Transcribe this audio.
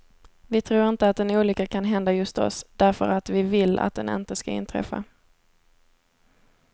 Vi tror inte att en olycka kan hända just oss, därför att vi vill att den inte ska inträffa.